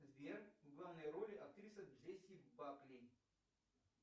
сбер в главной роли актриса джесси бакли